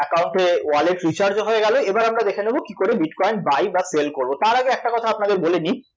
ACCount এ wallet recharge ও হয়ে গেল, এবারে আমরা দেখে নেব কীকরে bitcoin buy বা sell করব, তার আগে একটা কথা আপনাদের বলে দিই